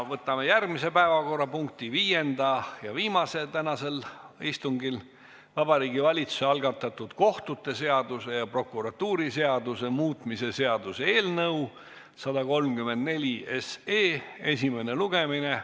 Võtame järgmise, viienda päevakorrapunkti, viimase tänasel istungil: Vabariigi Valitsuse algatatud kohtute seaduse ja prokuratuuriseaduse muutmise seaduse eelnõu 134 esimene lugemine.